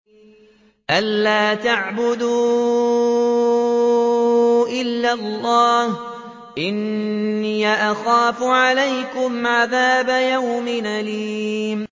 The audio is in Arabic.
أَن لَّا تَعْبُدُوا إِلَّا اللَّهَ ۖ إِنِّي أَخَافُ عَلَيْكُمْ عَذَابَ يَوْمٍ أَلِيمٍ